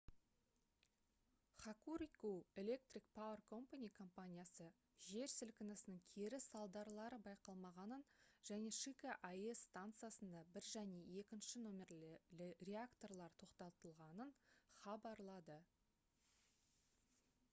hokuriku electric power co компаниясы жер сілкінісінің кері салдарлары байқалмағанын және шика аэс станциясында 1 және 2 нөмірлі реакторлар тоқтатылғанын хабарлады